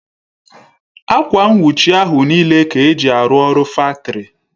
Akwa nnwuchi ahụ n'ile Ka eji arụ ọrụ faktori